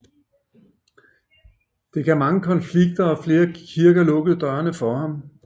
Det gav mange konflikter og flere kirker lukkede dørene for ham